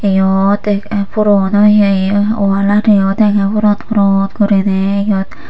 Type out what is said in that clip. eyot puron oye walaniyo dega purot purot guriney eyot.